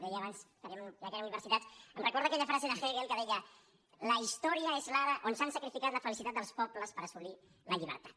deia abans ja que era universitats em recorda aquella frase de hegel que deia la historia és l’ara on s’ha sacrificat la felicitat dels pobles per as·solir la llibertat